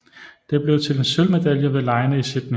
Det blev til en sølvmedalje ved legene i Sydney